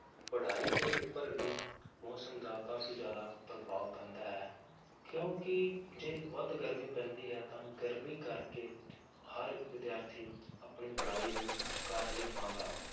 ਪੜ੍ਹਾਈ ਦੇ ਉੱਪਰ ਵੀ ਮੌਸਮ ਦਾ ਕਾਫ਼ੀ ਜ਼ਿਆਦਾ ਪ੍ਰਭਾਵ ਪੈਂਦਾ ਹੈ, ਕਿਉਂਕਿ ਜੇ ਵੱਧ ਗਰਮੀ ਪੈਂਦੀ ਹੈ ਤਾਂ ਗਰਮੀ ਕਰਕੇ ਹਰ ਇੱਕ ਵਿਦਿਆਰਥੀ ਆਪਣੀ ਪੜ੍ਹਾਈ ਨੂੰ ਕਰ ਨਹੀਂ ਪਾਉਂਦਾ,